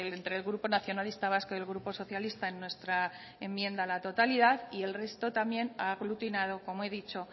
entre el grupo nacionalista vasco y el grupo socialista en nuestra enmienda a la totalidad y el resto también aglutinado como he dicho